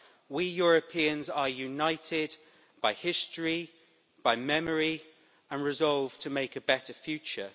We Europeans are united by history, by memory and resolve to make a better future.